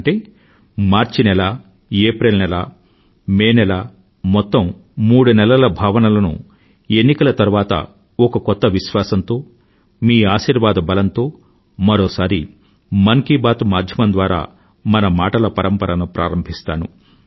అంటే మార్చి నెల ఏప్రిల్ నెల మే నెల మొత్తం మూడు నెలల భావనలను ఎన్నికల తరువాత ఒక కొత్త విశ్వాసంతో మీ ఆశీర్వాద బలంతో మరోసారి మన్ కీ బాత్ మాధ్యమం ద్వారా మన మాటల పరంపరను ప్రారంభిస్తాను